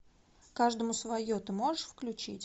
каждому свое ты можешь включить